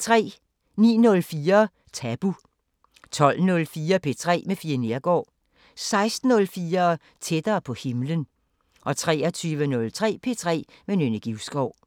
09:04: Tabu 12:04: P3 med Fie Neergaard 16:04: Tættere på himlen 23:03: P3 med Nynne Givskov